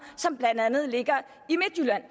som blandt andet ligger i midtjylland